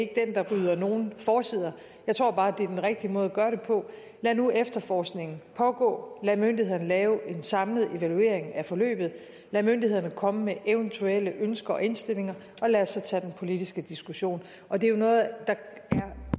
er den der rydder nogen forsider jeg tror bare det er den rigtige måde at gøre det på lad nu efterforskningen pågå lad myndighederne lave en samlet evaluering af forløbet lad myndighederne komme med eventuelle ønsker og indstillinger og lad os så tage den politiske diskussion og det er jo noget der er